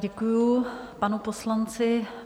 Děkuji panu poslanci.